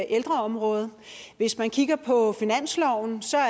ældreområdet hvis man kigger på finansloven ser